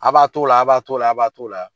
A b'a to o la a b'a to o la a b'a to o la.